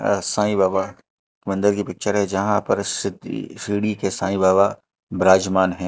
साइ बाबा मंदिर की पिक्चर है जहां पर सिद्धि शिर्डी के साइ बाबा विराजमान हैं।